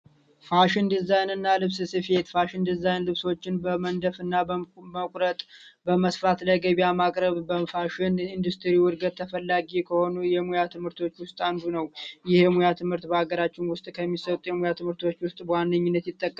ፋሽን ዲዛይነር ፋሽን ዲዛይን ልብሶችን በመንደም በመስራት ለገበያ ማቅረብ በፋሽን ኢንዱስትሪ ከሆኑ የሙያ ትምህርቶች አንዱ ነው ይሄ ሙያ ትምህርት በሀገራችን ውስጥ ይጠቀሳሉ